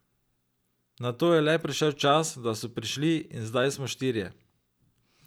Nato je le prišel čas, da so prišli, in zdaj smo štirje.